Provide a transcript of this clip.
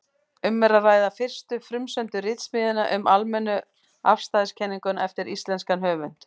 Um er að ræða fyrstu frumsömdu ritsmíðina um almennu afstæðiskenninguna eftir íslenskan höfund.